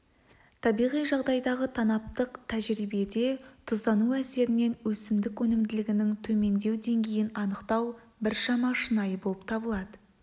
табиғи жағдайдағы танаптық тәжірибеде тұздану әсерінен өсімдік өнімділігінің төмендеу деңгейін анықтау біршама шынайы болып табылады